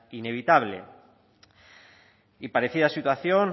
inevitable y parecida situación